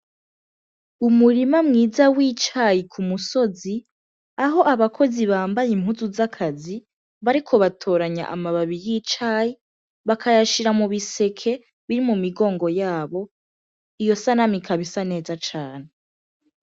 Umurima mwiza w'icayi ku musozi aho abakozi bambaye impuzu z'akazi bariko batoranya amababi y'icayi bakayashira mu biseke biri mu migongo yabo iyo sanama ikabisa neza cane.